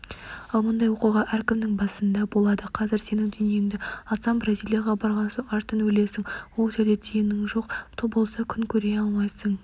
ал мұндай оқиға әркімнің басында болады қазір сенің дүниеңді алсам бразилияға барған соң аштан өлесің ол жерде тиының жоқ болса күн көре алмайсың